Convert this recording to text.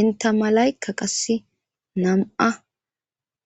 inta malayka qasse nam'ua.